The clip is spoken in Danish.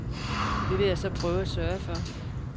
Det vil jeg så prøve at sørge for.